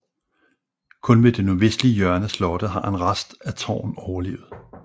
Kun ved det nordvestlige hjørne af slottet har en rest af tårn overlevet